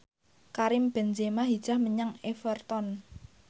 Karim Benzema hijrah menyang Everton